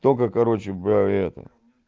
только короче бля это